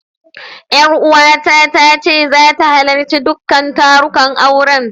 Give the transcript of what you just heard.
Ƴaruwata ta ce zata halarci duka tarukan auren.